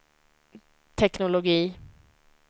teknologi